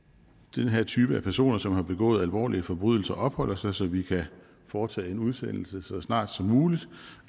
den her type af personer som har begået alvorlige forbrydelser opholder sig så vi kan foretage en udsendelse så snart som muligt